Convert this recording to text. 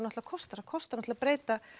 kostar það kostar að breyta